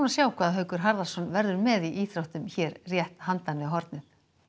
sjá hvað Haukur Harðarson verður með í íþróttum hér rétt handan við hornið